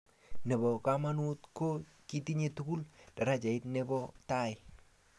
Ne bo kmonut ko kitinye tugul darajait ne bo tai.